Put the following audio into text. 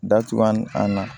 Datugu an na